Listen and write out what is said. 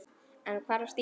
En hvar var Stína?